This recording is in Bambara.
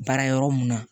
Baara yɔrɔ mun na